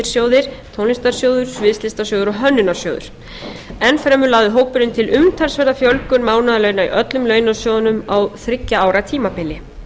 sjóðir tónlistarsjóður sviðslistasjóður og hönnunarsjóður enn fremur lagði hópurinn til umtalsverða fjölgun mánaðarlauna í öllum launasjóðunum á þriggja ára tímabili